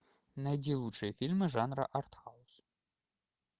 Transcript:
найди лучшие фильмы жанра артхаус